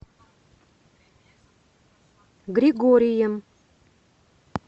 григорием